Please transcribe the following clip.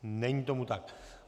Není tomu tak.